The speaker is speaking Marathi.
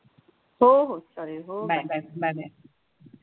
हो हो चालेल हो चालेल.